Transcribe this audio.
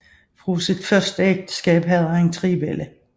Fra sit første ægteskab havde han tre børn